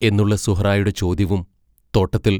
എന്നുള്ള സുഹറായുടെ ചോദ്യവും തോട്ടത്തിൽ!